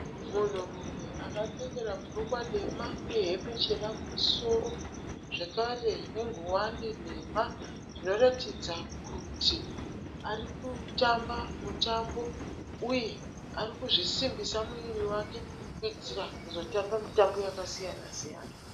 Munhurume akapfekera bhurukwa dema uye hembe chena kumusoro zvakare nengowani nhema. Zvinoratidza kuti ari kutamba mutambo uye ari kuzvisimbisa muviri wake kuitira kuzotamba mitambo yakasiyana siyana.